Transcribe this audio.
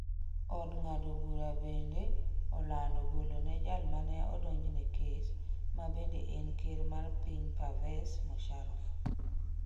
Od ng'ado bura bende olando golone jal mane odonjne kes ma bende en ker mar piny Pervez Musharraf